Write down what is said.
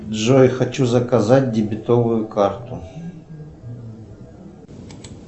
джой хочу заказать дебетовую карту